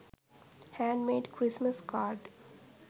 hand made christmas card